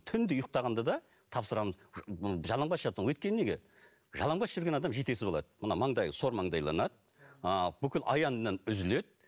түнде ұйықтағанда да тапсырамыз жалаңбас жату өйткені неге жалаңбас жүрген адам жетесіз болады мына маңдай сормаңдайланады ыыы бүкіл аяннан үзіледі